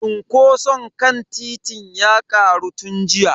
Cunkoson kan titin ya karu tun jiya.